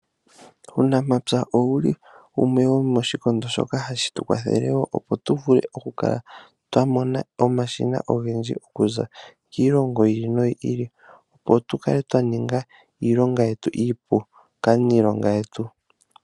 Uunamapya owuli wumwe womoshikondo shoka hashi tu kwathele opo tuvule okukala twamona omashina ogendji okuza kiilongo yi ili noyi ili, tse tukale twaningwa iilonga yetu iipu kaaniilonga yetu.